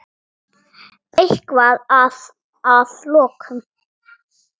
Eitthvað að að lokum?